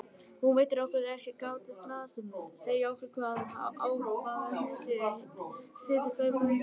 Hún veitir okkur því ekki gátlista sem segja okkur hvaða ákvarðanir séu siðferðilega réttar.